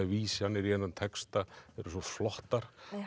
vísanir í þennan texta eru svo flottar